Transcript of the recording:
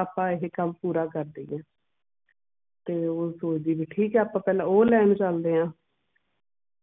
ਆਪਾਂ ਇਹ ਕਮ ਪੂਰਾ ਕਰ ਦੇਣਾ ਆ ਤੇ ਚਲੋ ਜੀ ਠੀਕ ਆ ਆਪਾਂ ਪਹਿਲਾਂ ਉਹ ਲੈਣ ਚਲਦੇ ਆ